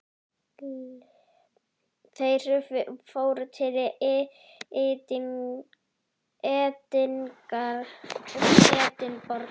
Þeir fóru til Edinborgar.